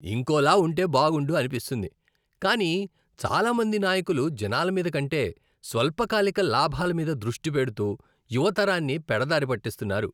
ఇంకోలా ఉంటే బాగుండు అనిపిస్తుంది, కాని చాలా మంది నాయకులు జనాల మీద కంటే స్వల్పకాలిక లాభాల మీద దృష్టి పెడుతూ యువ తరాన్నిపెడదారి పట్టిస్తున్నారు.